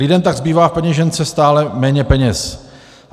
Lidem tak zbývá v peněžence stále méně peněz.